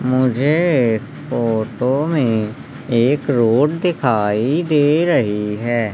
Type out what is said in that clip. मुझे फोटो में एक रोड दिखाई दे रही है।